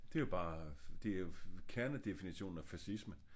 Det er jo bare det jo kernedefinitionen af fascisme